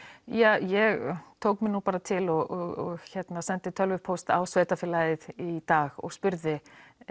ja ég tók mig nú bara til og sendi tölvupóst á sveitafélagið í dag og spurði